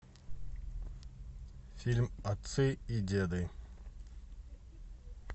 фильм отцы и деды